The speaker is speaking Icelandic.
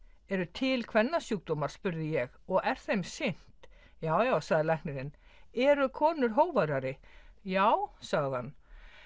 eru til spurði ég og er þeim sinnt já já sagði læknirinn eru konur hógværari já sagði hann